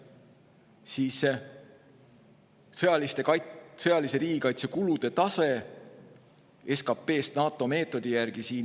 Siis on siin "Sõjalise kaitse kulude tase SKPst NATO meetodi järgi".